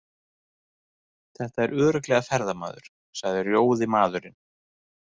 Þetta er örugglega ferðamaður, sagði rjóði maðurinn.